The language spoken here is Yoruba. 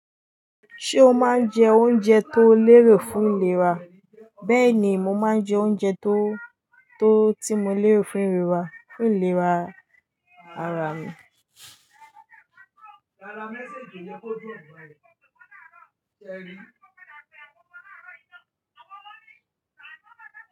Ṣé o máa ń jẹ oúnjẹ tó lérò fún ìlera? Bẹ́ẹ̀ ni, mo máa ń jẹ oúnjẹ tó- tí mo lérò fún ìlera, fún ìlera ara mi.